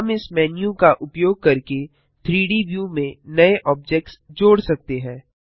हम इस मेन्यू का उपयोग करके 3डी व्यू में नए ऑब्जेक्ट्स जोड़ सकते हैं